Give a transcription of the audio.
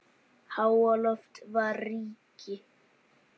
Háaloft var ríki